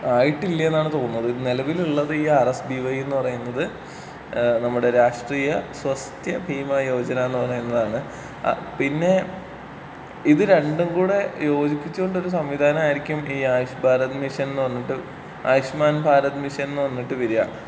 ആയിട്ടില്ലാ എന്നാണ് തോന്നുന്നത്.നിലവിലുള്ളത് ഈ ആർ എസ് ബീ വയ് എന്ന് പറയുന്നത് ഏഹ് നമ്മുടെ രാഷ്ട്രീയ സ്വസ്ത്യ ഭീമാ യോജനാ എന്ന് പറയുന്നതാണ്. ആഹ് പിന്നേ ഇത് രണ്ടും കൂടെ യോജിപ്പിച്ചോണ്ട് ഒരു സംവിധാനമായിരിക്കും ഈ ആയുഷ് ഭാരത് മിഷൻ എന്ന് പറഞ്ഞിട്ട് ആയുഷ്മാൻ ഭാരത് മിഷൻ എന്ന് പറഞ്ഞിട്ട് വരാ.